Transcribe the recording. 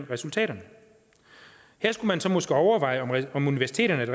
resultaterne her skulle man så måske overveje om universiteterne er